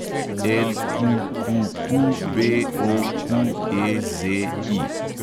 LQQQBOQEZI